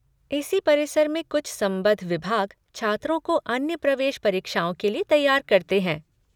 इसी परिसर में कुछ संबद्ध विभाग छात्रों को अन्य प्रवेश परीक्षाओं के लिए तैयार करते हैं।